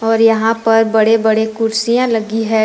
और यहां पर बड़े बड़े कुर्सियां लगी है।